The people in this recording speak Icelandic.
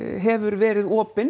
hefur verið opin